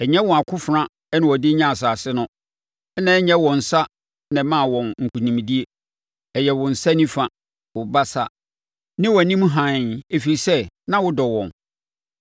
Ɛnyɛ wɔn akofena na wɔde nyaa asase no, na ɛnyɛ wɔn nsa na ɛmaa wɔn nkonimdie; ɛyɛ wo nsa nifa, wo basa, ne wʼanim hann, ɛfiri sɛ na wodɔ wɔn.